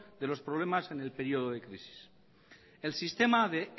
de los problemas en el período de crisis el sistema de